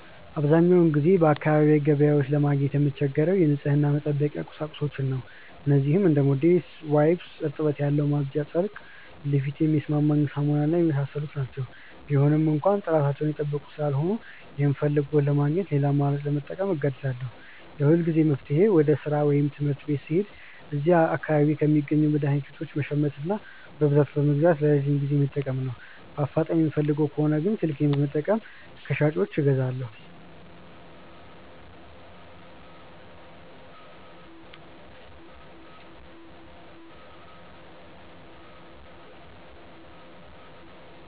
አብዛኛውን ጊዜ በአካባቢዬ ገበያዎች ለማግኘት የምቸገረው የንጽህና መጠበቂያ ቁሳቁሶችን ነው። እነዚህም እንደ ሞዴስ፣ ዋይፕስ (እርጥበት ያለው ማጽጃ ጨርቅ)፣ ለፊቴ የሚስማማኝ ሳሙና እና የመሳሰሉት ናቸው። ቢገኙም እንኳ ጥራታቸውን የጠበቁ ስላልሆኑ፣ የምፈልገውን ለማግኘት ሌላ አማራጭ ለመጠቀም እገደዳለሁ። የሁልጊዜም መፍትሄዬ ወደ ሥራ ወይም ትምህርት ቤት ስሄድ እዚያ አካባቢ ከሚገኙ መድኃኒት ቤቶች መሸመትና በብዛት በመግዛት ለረጅም ጊዜ መጠቀም ነው። በአፋጣኝ የምፈልግ ከሆነ ግን ስልኬን በመጠቀም ከሻጮች አዛለሁ።